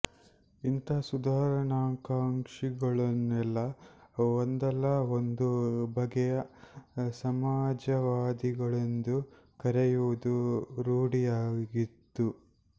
ಇಂಥ ಸುಧಾರಣಾಕಾಂಕ್ಷಿಗಳನ್ನೆಲ್ಲ ಒಂದಲ್ಲ ಒಂದು ಬಗೆಯ ಸಮಾಜವಾದಿಗಳೆಂದು ಕರೆಯುವುದು ರೂಢಿಯಾಗಿತ್ತು